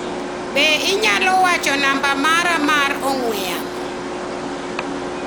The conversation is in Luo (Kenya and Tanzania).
Be inyalo wacho namba mara mar ong'ue yamo?